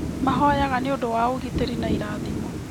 Mahoyaga nĩ ũndũ wa ũgitĩri na irathimo.